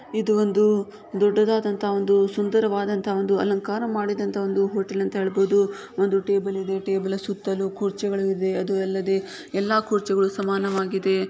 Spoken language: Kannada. ಇದು ಒಂದು ದೊಡ್ಡದಾದಂತಹ ಒಂದು ಸುಂದರವಾದಂತಹ ಒಂದು ಅಲಂಕಾರ ಮಾಡಿದಂತಹ ಒಂದು ಹೋಟೆಲ್ ಅಂತ ಹೇಳಬಹುದು ಒಂದು ಟೇಬಲ್ ಇದೆ ಟೇಬಲ್ ಸುತ್ತಲೂ ಕುರ್ಚಿಗಳಿದೆ ಅದು ಅಲ್ಲದೆ ಎಲ್ಲಾ ಕುರ್ಚಿಗಳು ಸಮಾನವಾಗಿದೆ.